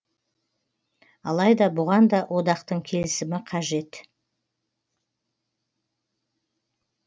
алайда бұған да одақтың келісімі қажет